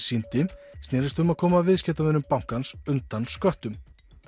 sýndi snerist um að koma viðskiptavinum bankans undan sköttum